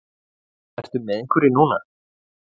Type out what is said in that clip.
Ertu með einhverri núna?